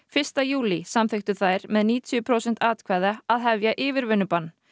fyrsta júlí samþykktu þær með níutíu prósent atkvæða að hefja yfirvinnubann